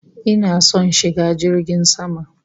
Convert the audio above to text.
Ina son shiga jirgin sama